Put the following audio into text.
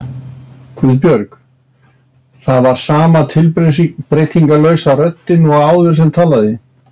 Guðbjörg. það var sama tilbreytingarlausa röddin og áður sem talaði.